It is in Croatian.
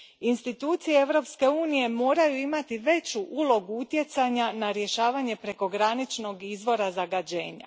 Institucije Europske unije moraju imati veću ulogu utjecanja na rješavanje prekograničnog izvora zagađenja.